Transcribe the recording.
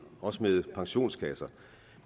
også med pensionskasser